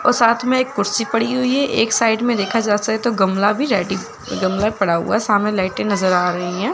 और साथ में कुर्सी एक कुर्सी पड़ी हुई है एक साइड में देखा जा सा तो गमला भी रेडी गमला पड़ा हुआ है। सामने लाइटें नज़र आ री हैं।